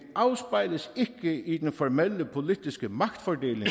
afspejles ikke i den formelle politiske magtfordeling